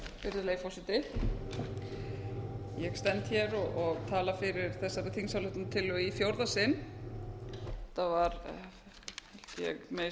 virðulegi forseti ég stend hér og tala fyrir þessari þingsályktunartillögu í fjórða sinn þetta var held ég að ég megi